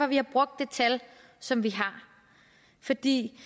vi har brugt det tal som vi har fordi